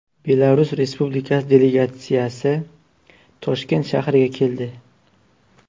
Belarus Respublikasi delegatsiyasi Toshkent shahriga keldi.